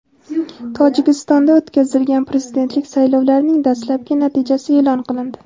Tojikistonda o‘tkazilgan prezidentlik saylovlarining dastlabki natijasi e’lon qilindi.